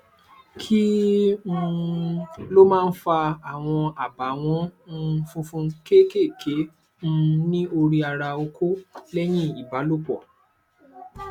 kí um ló máa ń fa àwọn abawon um funfun keekéeké um ní orí ara oko leyin ibalòpọ